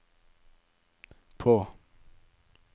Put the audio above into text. på